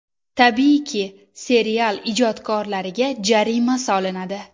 Tabiiyki, serial ijodkorlariga jarima solinadi.